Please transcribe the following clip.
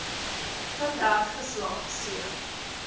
standerd geslaag c